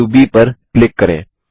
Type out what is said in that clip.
बिंदु ब पर क्लिक करें